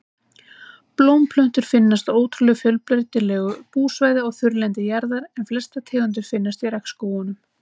Blómplöntur finnast á ótrúlega fjölbreytilegu búsvæði á þurrlendi jarðar en flestar tegundir finnast í regnskógunum.